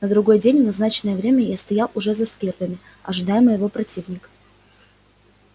на другой день в назначенное время я стоял уже за скирдами ожидая моего противника